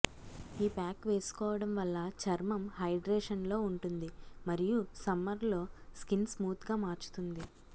ఈ ప్యాక్ వేసుకోవడం వల్ల చర్మం హైడ్రేషన్ లో ఉంటుంది మరియు సమ్మర్లో స్కిన్ స్మూత్ గా మార్చుతుంది